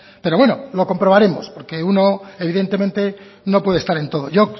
pero bueno lo comprobaremos porque uno evidentemente no puede estar en todo yo